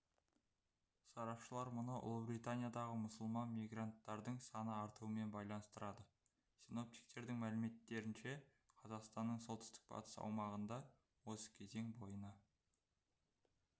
сарапшылар мұны ұлыбританиядағы мұсылман мигранттардың саны артуымен байланыстырады синоптиктердің мәліметтерінше қазақстанның солтүстік-батыс аумағында осы кезең бойына